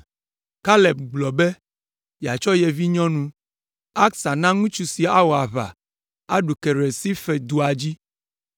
Kaleb gblɔ be yeatsɔ ye vinyɔnu Aksa na ŋutsu si awɔ aʋa aɖu Kiriat Sefer dua dzi.